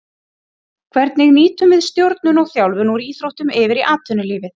Hvernig nýtum við stjórnun og þjálfun úr íþróttum yfir í atvinnulífið.